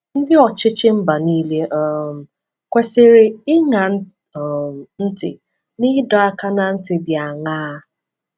Ndị ọchịchị mba niile um kwesịrị ịṅa um ntị n’ịdọ aka ná ntị dị aṅaa?